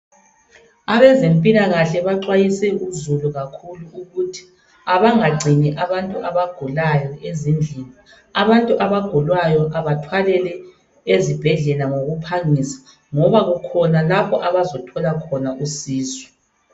Abezempilakahle baxwayise uzulu kakhulu ukuthi abangagcini abantu abagulayo ezindlini, abantu abagulayo abathwalelwe ezibhedlela ngoku phangisa ngoba kukhona lapho abazathola khona usizo.